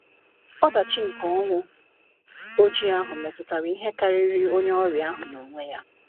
Ọdachi nke Ọnwụ Ojii ahụ metutara ihe karịrị onye ọrịa ahụ n’onwe ya.